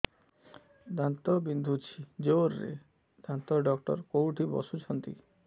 ଦାନ୍ତ ବିନ୍ଧୁଛି ଜୋରରେ ଦାନ୍ତ ଡକ୍ଟର କୋଉଠି ବସୁଛନ୍ତି